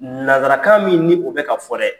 Nansarakan min ni o bɛ ka fɔ dɛ